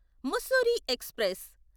Mussoorie express